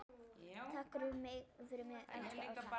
Takk fyrir mig, elsku Ása.